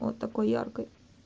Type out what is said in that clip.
вот такой яркой